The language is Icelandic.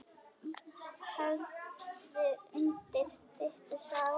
Hafður undir styttu sá.